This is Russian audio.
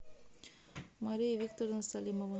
мария викторовна салимова